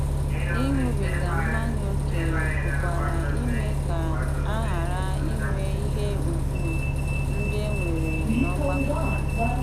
Ịṅụbiga mmanya ókè pụkwara ime ka a ghara inwe ihe ùgwù ndị e nwere n'ọgbakọ.